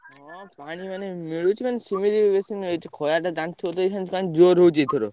ହଁ ପାଣି ମାନେ ମିଳୁଚି ମାନେ ସେମିତି ବେଶୀ ନୁହେଁ ଏଠି ଖରାଟା ଜାଣିଥିବ ତ ଅଇଖା ପୁରା ଜୋର ହଉଛି ଏଇଥର।